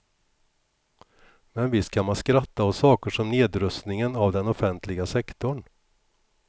Men visst kan man skratta åt saker som nedrustningen av den offentliga sektorn.